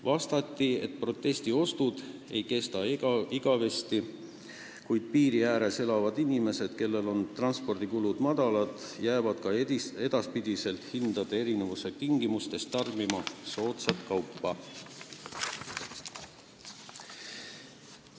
Vastati, et protestiostud ei kesta igavesti, kuid piiri ääres elavad inimesed, kellel transpordikulud on väikesed, jäävad hindade erinevuse korral ka edaspidi soodsat kaupa ostma.